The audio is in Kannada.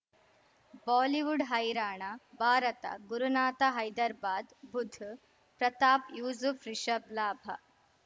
ಬಾಲಿವುಡ್ ಹೈರಾಣ ಭಾರತ ಗುರುನಾಥ ಹೈದರ್ ಬಾದ್ ಬುಧ್ ಪ್ರತಾಪ್ ಯೂಸುಫ್ ರಿಷಬ್ ಲಾಭ